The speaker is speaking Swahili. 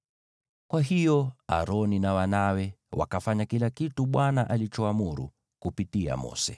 Kwa hiyo Aroni na wanawe wakafanya kila kitu Bwana alichoamuru kupitia kwa Mose.